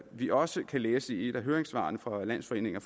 vi også kan læse i et af høringssvarene fra landsforeningen